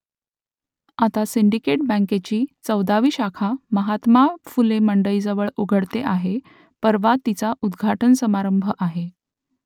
आता सिंडिकेट बँकेची चौदावी शाखा महात्मा फुले मंडईजवळ उघडते आहे परवा तिचा उद्घाटन समारंभ आहे